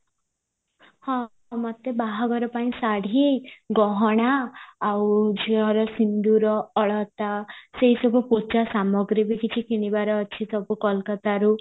ହଁ ଅମତେ ବାହାଘର ପାଇଁ ଶାଢୀ ଗହଣା ଆଉ ଝିଅର ସିନ୍ଦୁର ଅଳତା ସେଇ ସବୁ ପୂଜା ସାମଗ୍ରୀ ବି କିଛି କିଣିବାର ଅଛି ସବୁ କୋଲକତାରୁ